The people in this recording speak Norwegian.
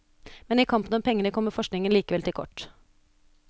Men i kampen om pengene kommer forskningen likevel til kort.